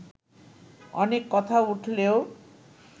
অনেক কথা উঠলেও